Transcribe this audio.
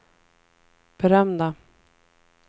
berömda